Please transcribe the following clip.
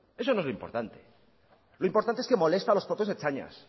eso no es lo importante lo importante es que molesta a los propios ertzainas